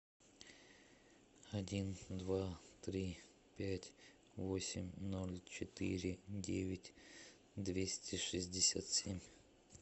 один два три пять восемь ноль четыре девять двести шестьдесят семь